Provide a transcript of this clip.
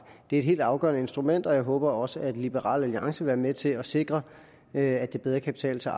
det er et helt afgørende instrument og jeg håber også at liberal alliance vil være med til at sikre at det bedre kan betale sig